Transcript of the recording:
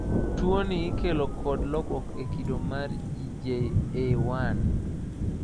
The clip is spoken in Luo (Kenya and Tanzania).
Tuoni ikelo kod lokruok e kido mar GJA1.